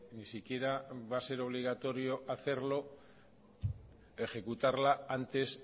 ni siquiera va a ser obligatorio hacerlo ejecutarla antes